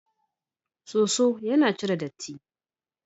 Soso yana cire datti.